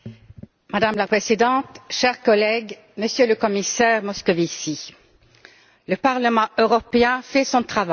Madame la Présidente, chers collègues, Monsieur le Commissaire Moscovici, le Parlement européen fait son travail.